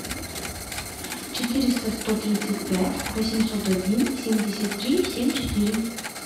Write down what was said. четыреста сто тридцать пять восемьсот один семьдесят три семь четыре